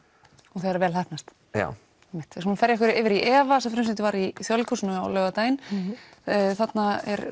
og þegar vel heppnast já einmitt við skulum ferja okkur yfir í efa sem frumsýnt var í Þjóðleikhúsinu á laugardaginn þarna er